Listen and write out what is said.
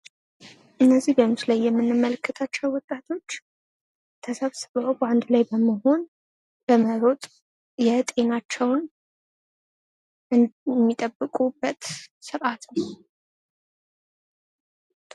እነዚህ በምስሉ ላይ የምንመለከታቸው ወጣቶች አንድ ላይ በመሰብሰብና በመሮጥ ጤናቸውን የሚጠብኩበት ስርዓት ነው።